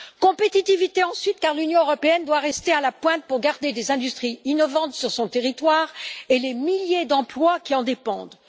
Compétitivité ensuite, car l'Union européenne doit rester à la pointe pour garder des industries innovantes sur son territoire et les milliers d'emplois qui en dépendent.